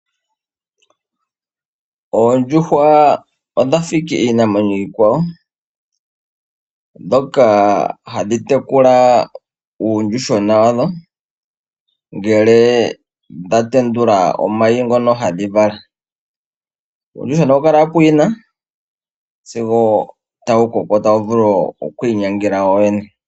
Oondjuhwa odha fa owala iinamwenyo iikwawo, dhoka hadhi tekula uuyuhwena wadho, ngele dha tendula omayi ngono hadhi vala. Uuyuhwena ohawu kala puyina, sigo tawu koko, tawu vulu okwiinyangela wo wene.